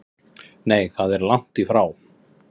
Nei það er lagt í frá